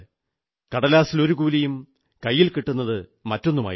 കടലാസിൽ ഒരു കൂലിയും കൈയിൽ കിട്ടുന്നത് മറ്റൊന്നുമായിരുന്നു